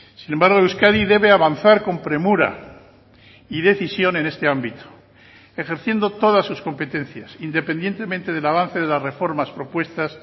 sin embargo euskadi debe avanzar con premura y decisión en este ámbito ejerciendo todas sus competencias independientemente del avance de las reformas propuestas